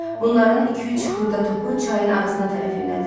Bunların iki-üç xırda topu çayın ağzına tərəf yönəldilib.